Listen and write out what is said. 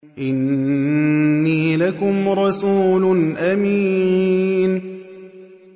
إِنِّي لَكُمْ رَسُولٌ أَمِينٌ